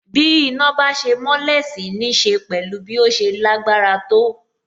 Bí iná bá ṣe mọ́lẹ̀ sì nííṣe pẹ̀lú bí ó ṣe lágbára tó.